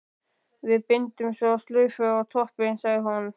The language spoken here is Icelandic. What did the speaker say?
Við bindum svo slaufu á toppinn, sagði hún.